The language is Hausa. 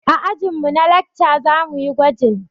A ajin mu na lakca zamuyi gwajin